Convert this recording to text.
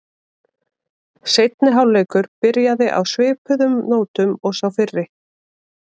Seinni hálfleikur byrjaði á svipuðu nótum og sá fyrri.